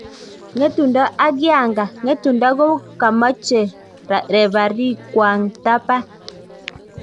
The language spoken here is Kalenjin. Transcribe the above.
Ngetundo ak Yanga, Ngetundo kokomache refarii kwang tapan